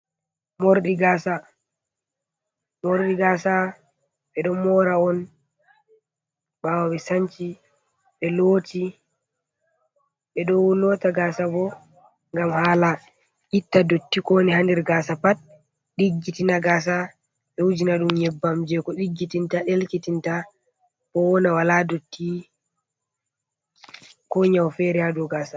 Mordi gasa, ɓe ɗon mora on ɓawo ɓe sanci ɓe ɗoti. Ɓe ɗo lota gasa bo, gam hala itta dotti kowoni ha nder gasa pat, ɗiggitina gasa be wujinadum yebbam je ko ɗiggitinta, ɗelkitinta, bo wona wala dotti ko nyawo fere ha dow gasa.